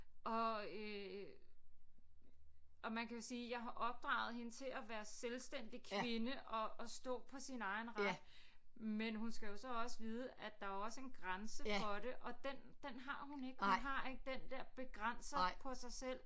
Og øh og man kan sige jeg har opdraget hende til at være selvstændig kvinde og og stå på sin egen ret men hun skal jo så også vide at der er jo også en grænse for det og den den har hun ikke hun har ikke den der begrænser på sig selv